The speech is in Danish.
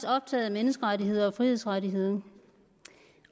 optaget af menneskerettigheder og frihedsrettigheder